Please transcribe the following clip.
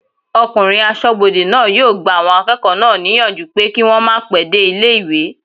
Ọkùnrin asọ́bodè náà yóò gba àwọn akẹ́kọ̀ọ́ náà níyànjú pé kí wọ́n màá pẹ́ dé ilé-ìwé